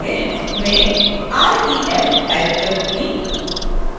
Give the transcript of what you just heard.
मैं ref type करुँगी